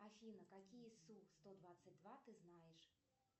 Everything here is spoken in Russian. афина какие су сто двадцать два ты знаешь